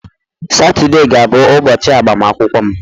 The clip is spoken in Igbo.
Saturday ga-abụ ụbọchị agbamakwụkwọ m.